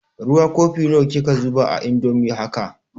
Ruwa kofi nawa kika zuba a indomin haka?